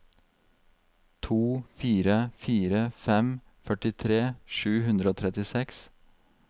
to fire fire fem førtitre sju hundre og trettiseks